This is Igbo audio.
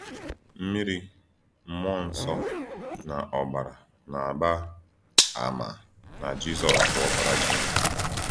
Mmìrì, Mmụọ Nsọ, na Ọ̀bàrà na-àgbà àmà na “Jízọs bụ Ọ́kpárá Chínèkè.”